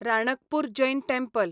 Ranakpur Jain temple